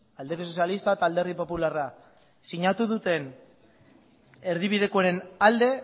alderdi sozialistak eta alderdi popularrak sinatu duten erdibidekoen alde